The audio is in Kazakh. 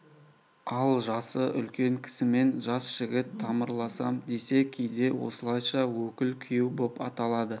ал жасы үлкен кісімен жас жігіт тамырласам десе кейде осылайша өкіл күйеу боп аталады